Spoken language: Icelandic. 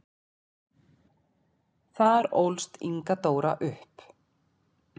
Þar ólst Inga Dóra upp.